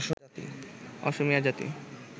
অসমীয়া জাতি